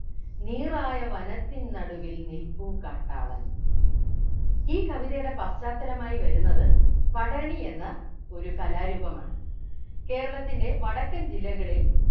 നീറായ വനത്തിൻ നടുവിൽ നിൽപ്പു കാട്ടാളൻ ഈ കവിതയുടെ പശ്ചാത്തലമായി വരുന്നത് പടയണി എന്ന ഒരു കലാരൂപമാണ് കേരളത്തിൻ്റെ വടക്കൻ ജില്ലകളിൽ